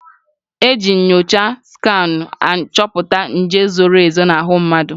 Eji nyocha skanụ achọpụta nje zoro ezo n'ahụ mmadụ.